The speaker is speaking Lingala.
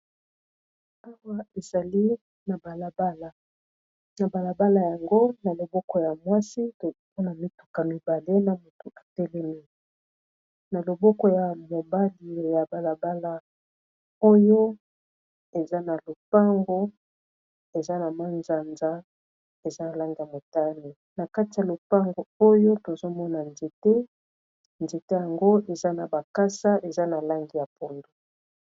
Awa ezali na balabala yango na loboko ya mwasi toopona mituka mibale na motu etelemi na loboko ya mobali ya balabala oyo eza na lopango eza na manzanza eza na lange ya motane, na kati ya lopango oyo tozomona nzete nzete yango eza na bakasa eza na lange ya pundo.